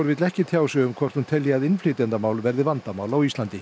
vill ekki tjá sig um hvort hún telji að innflytjendamál verði vandamál á Íslandi